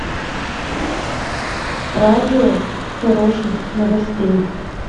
радио хороших новостей